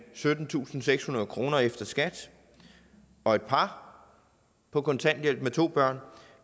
syttentusinde og sekshundrede kroner efter skat og et par på kontanthjælp med to børn